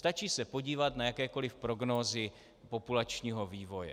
Stačí se podívat na jakékoliv prognózy populačního vývoje.